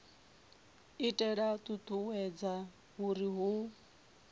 itela u ṱuṱuwedza uri hu